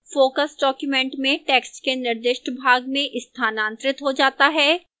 focus document में text के निर्दिष्ट भाग में स्थानांतरित हो जाता है